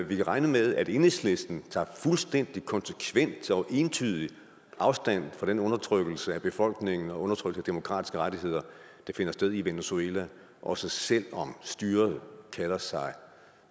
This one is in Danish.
vi kan regne med at enhedslisten tager fuldstændig konsekvent og entydig afstand fra den undertrykkelse af befolkningen og undertrykte demokratiske rettigheder der finder sted i venezuela også selv om styret kalder sig